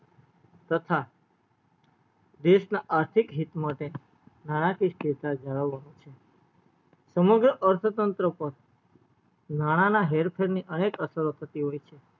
તથા દેશ ના અસ્થીક હિત માટે જળાવાનુંવણ છે અથ તંત્ર પર નાણા ના હેર ફેરની અનેક અસરો થતી હોય છે